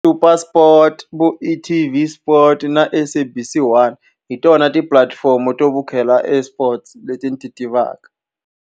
SuperSport, vo e-TV Sport na SABC 1, hi tona tipulatifomo to vukheta e-sports leti ni ti tivaka.